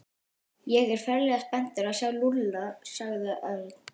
Ég er ferlega spenntur að sjá Lúlla sagði Örn.